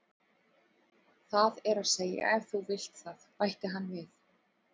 Það er að segja ef þú vilt það, bætti hann við.